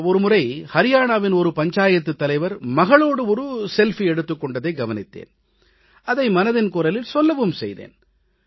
ஒரு முறை அரியானாவின் பஞ்சாயத்துத் தலைவர் மகளோடு செல்ஃபி எடுத்துக் கொண்டதை கவனித்தேன் அதை மனதின் குரலில் சொல்லவும் செய்தேன்